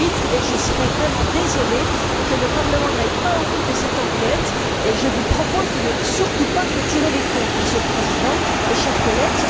2008. Mais je serais vraiment désolée que le Parlement n'aille pas au bout de cette enquête, et je vous propose de ne surtout pas clôturer les comptes, Monsieur le Président et chers collègues.